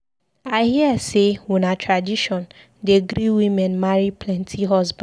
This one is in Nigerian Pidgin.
I hear sey una tradition dey gree women marry plenty husband.